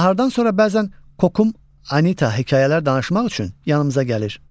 Nahardan sonra bəzən Kokum Anita hekayələr danışmaq üçün yanımıza gəlir.